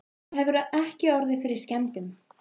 Það hefur ekki orðið fyrir skemmdum?